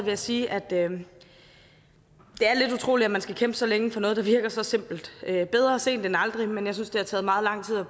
jeg sige at det er lidt utroligt at man skal kæmpe så længe for noget der virker så simpelt bedre sent end aldrig men jeg synes det har taget meget lang tid at